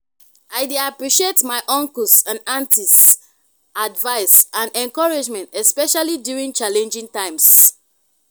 i dey appreciate my uncles and aunties' advice and encouragement especially during challenging times.